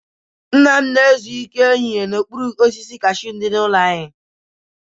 Nna m na-ezu ike ehihie n'okpuru osisi kashuu dị n'ihu ụlọ anyị.